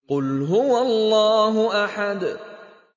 قُلْ هُوَ اللَّهُ أَحَدٌ